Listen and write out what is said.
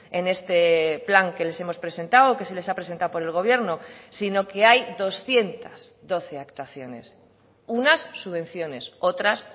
en este plan que les hemos presentado o que se les ha presentado por el gobierno sino que hay doscientos doce actuaciones unas subvenciones otras